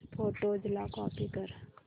photos ला copy कर